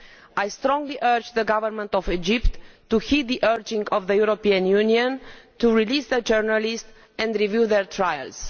I strongly urge the government of Egypt to heed the urging of the European Union to release the journalists and review their trials.